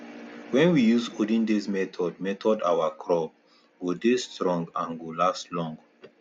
wen we use olden days method method our crop go dey strong and go last long